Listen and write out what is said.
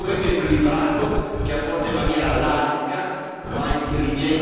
ma intelligente e costruttiva, l'emergenza immigrazione.